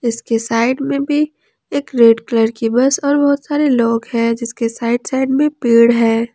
इसके साइड में भी एक रेड कलर की बस और बहुत सारे लोग हैं जिसके साइड साइड में पेड़ है।